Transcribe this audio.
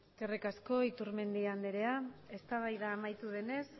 eskerrik asko iturmendi anderea eztabaida amaitu denez